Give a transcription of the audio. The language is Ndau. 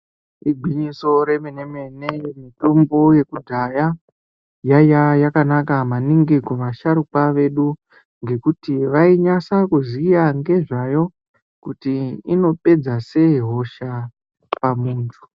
Igwinyiso remene mene mitombo yekudhaya yaiya yakanaka maningi kuvasharukwa vedu ngekuti vainyasa kuziya ngezvayo kuti inopedza sei hosha pamuntu.